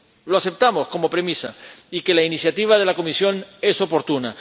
Lo aceptamos como premisa, aceptamos que la iniciativa de la Comisión es oportuna.